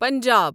Punjab